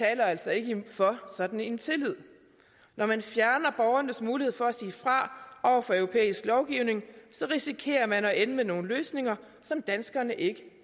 altså ikke for sådan en tillid når man fjerner borgernes mulighed for at sige fra over for europæisk lovgivning risikerer man at ende med nogle løsninger som danskerne ikke